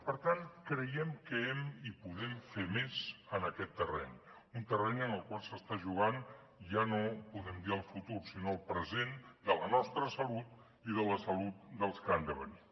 per tant creiem que hem i podem fer més en aquest terreny un terreny en el qual s’està jugant ja no podem dir el futur sinó el present de la nostra salut i de la salut dels que han de venir